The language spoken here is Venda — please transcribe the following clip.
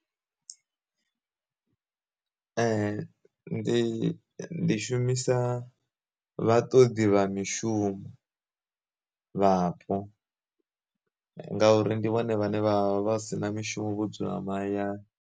Ndi ndi shumisa vha ṱoḓi vha mishumo vhapo ngauri ndi vhone vhane vha vha si na mishumo vho dzula mahayani.